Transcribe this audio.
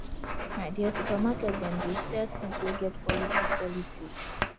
my dear supermarket dem dey sell tins wey get quality quality